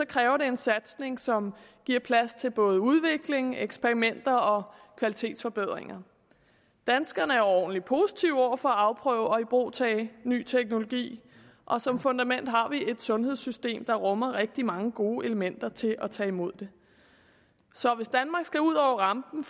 kræver det en satsning som giver plads til både udvikling eksperimenter og kvalitetsforbedringer danskerne er overordentlig positive over for at afprøve og ibrugtage ny teknologi og som fundament har vi et sundhedssystem der rummer rigtig mange gode elementer til at tage imod det så hvis danmark skal ud over rampen